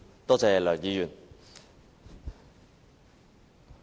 多謝梁議員。